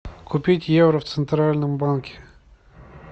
купить евро в центральном банке